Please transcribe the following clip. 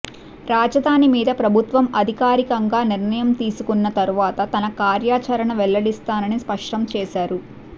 రాజధాని మీద ప్రభుత్వం అధకారికంగా నిర్ణయం తీసుకున్న తరువాత తన కార్యాచరణ వెల్లడిస్తానని స్పష్టం చేసారు